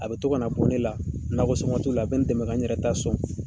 A bɛ to ka na bɔ ne la nakɔ sɔn waat' ula a bɛ n dɛmɛ ka yɛrɛ ta sɔn